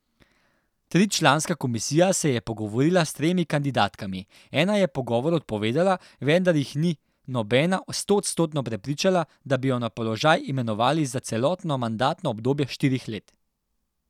Tričlanska komisija se je pogovorila s tremi kandidatkami, ena je pogovor odpovedala, vendar jih ni nobena stoodstotno prepričala, da bi jo na položaj imenovali za celotno mandatno obdobje štirih let.